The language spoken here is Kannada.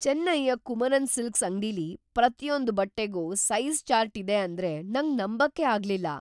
ಚೆನ್ನೈಯ ಕುಮರನ್ ಸಿಲ್ಕ್ಸ್ ಅಂಗ್ಡಿಲಿ ಪ್ರತಿಯೊಂದ್ ಬಟ್ಟೆಗೂ ಸೈಜ಼್ ಚಾರ್ಟ್ ಇದೆ ಅಂದ್ರೆ ನಂಗ್ ನಂಬಕ್ಕೇ ಆಗ್ಲಿಲ್ಲ.